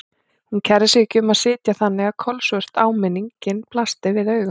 Hún kærði sig ekki um að sitja þannig að kolsvört áminningin blasti við augum.